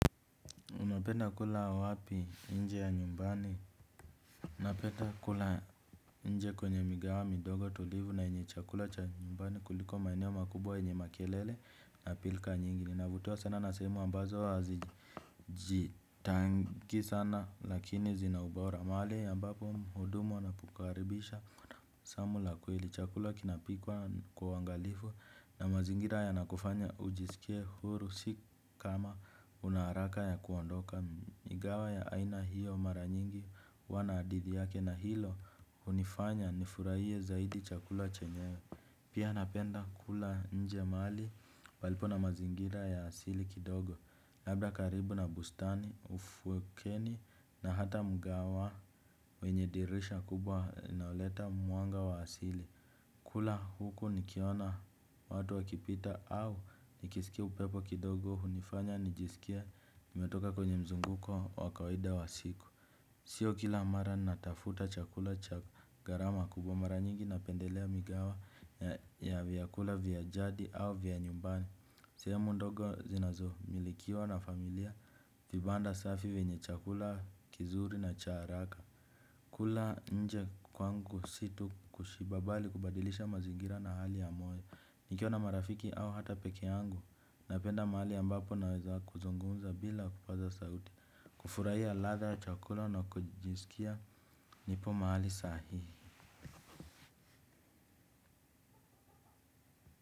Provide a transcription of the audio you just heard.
Unapenda kula wapi nje ya nyumbani. Napenda kula nje kwenye migahawa midogo tulivu na yenye chakula cha nyumbani kuliko maeneo makubwa yenye makelele na pilika nyingi. Navutiwa sana nasehemu ambazo hazi jitangi sana lakini zina ubora. Mahali ambapo muhudumu anakukaribisha jambo la kweli chakula kinapikwa kwa uwangalifu na mazingira ya nakufanya ujisikie huru si kama unaharaka ya kuondoka migahawa ya aina hiyo mara nyingi wana didi yake na hilo hunifanya nifurahie zaidi chakula chenyewe. Pia napenda kula nje mahali palipo na mazingira ya asili kidogo. Labda karibu na bustani, ufukweni na hata mgahawa wenye dirisha kubwa inayoleta mwanga wa asili kula huku nikiona watu wakipita au nikisikia upepo kidogo hunifanya nijisikie nimetoka kwenye mzunguko wakawaida wa siku. Sio kila mara natafuta chakula cha gharama kubwa mara nyingi na pendelea migahawa ya vyakula vya jadi au vya nyumbani. Sehemu ndogo zinazo milikiwa na familia vibanda safi vyenye chakula kizuri na cha haraka. Kula nje kwangu si tu kushiba bali kubadilisha mazingira na hali ya moyo. Nikiwa na marafiki au hata peke yangu napenda mahali ambapo naweza kuzungumza bila kupaza sauti. Kufurahia ladha ya chakula na kujisikia nipo mahali sahihi.